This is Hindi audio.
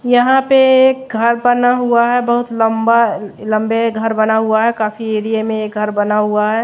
यहां पे एक घर बना हुआ है बहोत लंबा लंबे घर बना हुआ है काफी एरिया में ये घर बना हुआ है।